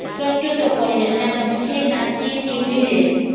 plus two ତକ ପଢି ଦେଲୁ ସେଇ ଳନଟିନ ଡିବିରୀ ରେ